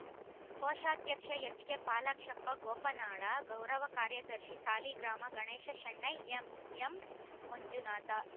ಕೋಶಾಧ್ಯಕ್ಷ ಎಚ್‌ಕೆಪಾಲಾಕ್ಷಪ್ಪ ಗೋಪನಾಳ ಗೌರವ ಕಾರ್ಯದರ್ಶಿ ಸಾಲಿಗ್ರಾಮ ಗಣೇಶ ಶೆಣೈ ಎಂ ಎಂಮಂಜುನಾಥ